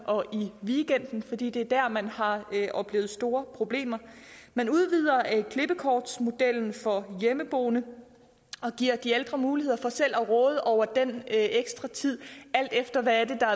og i weekenderne fordi det er dér at man har oplevet store problemer man udvider klippekortsmodellen for hjemmeboende og giver de ældre muligheder for selv at råde over den ekstra tid alt efter hvad det er